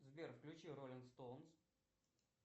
сбер включи роллинг стоунс